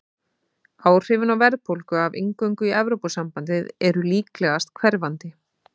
Áhrifin á verðbólgu af inngöngu í Evrópusambandið eru líklegast hverfandi.